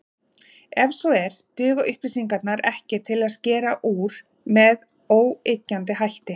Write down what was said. Ef svo er, duga upplýsingarnar ekki til að skera úr með óyggjandi hætti.